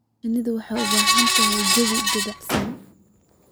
Shinnidu waxay u baahan tahay jawi dabacsan.